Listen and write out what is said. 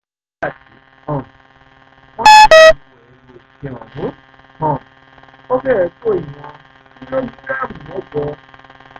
nígbà tí um wọ́n sì ṣòdíwọ̀n ẹrù òfin ọ̀hún um ó fẹ̀rẹ̀ tó ìwọ̀n kìlógíráàmù mẹ́jọ